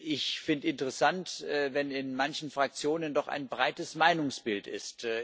Ich finde es interessant, wenn es in manchen Fraktionen doch ein breites Meinungsbild gibt.